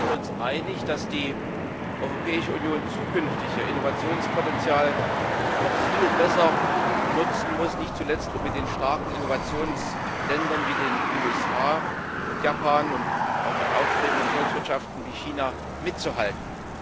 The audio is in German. Wir sind uns einig, dass die Europäische Union zukünftig ihr Innovationspotenzial noch viel besser nutzen muss, nicht zuletzt, um mit den starken Innovationsländern wie den USA und Japan und auch mit aufstrebenden Volkswirtschaften wie China mitzuhalten.